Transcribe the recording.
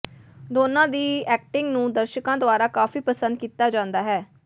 ਦੋਨਾਂ ਦੀ ਐਕਟਿੰਗ ਨੂੰ ਦਰਸ਼ਕਾਂ ਦੁਆਰਾ ਕਾਫੀ ਪਸੰਦ ਕੀਤਾ ਜਾਂਦਾ ਹੈ